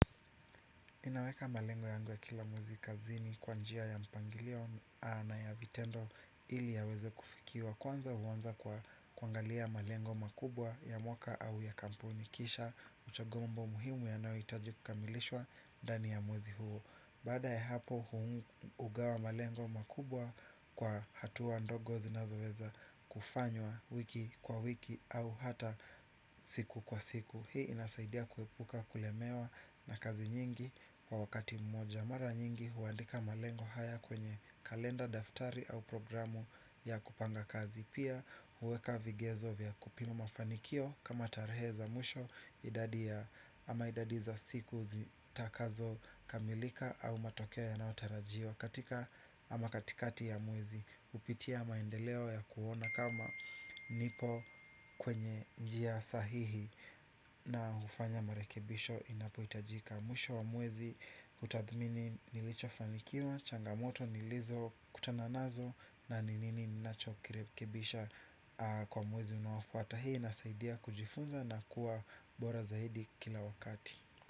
Ninaweka malengo yangu ya kila mwezi kazini kwa njia ya mipangilio na ya vitendo ili yaweze kufikiwa. Kwanza huanza kwa kuangalia malengo makubwa ya mwaka au ya kampuni kisha uchogombo muhimu yanayohitaji kukamilishwa ndani ya mwezi huu. Baada ya hapo hugawa malengo makubwa kwa hatua ndogo zinazoweza kufanywa wiki kwa wiki au hata siku kwa siku. Hii inasaidia kuepuka kulemewa na kazi nyingi. Kwa wakati mmoja mara nyingi huandika malengo haya kwenye kalenda daftari au programu ya kupanga kazi. Pia huweka vigezo vya kupima mafanikio kama tarehe za mwisho idadi ya ama idadi za siku zitakazokamilika au matokea yanayotarajiwa. Katika ama katikati ya mwezi kupitia maendeleo ya kuona kama nipo kwenye njia sahihi nafanya marekebisho inapohitajika mwisho wa mwezi hutadhmini nilichofanikiwa changamoto nilizokutana nazo na ni nini ninachokirekebisha kwa mwezi unaofwata hii inasaidia kujifunza na kuwa bora zaidi kila wakati.